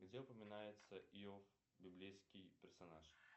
где упоминается иов библейский персонаж